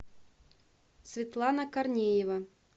светлана корнеева